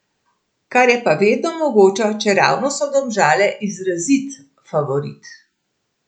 Kar je pa vedno mogoče, čeravno so Domžale izrazit favorit.